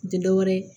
Tɛ dɔ wɛrɛ ye